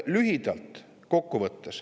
Lühidalt kokku võttes.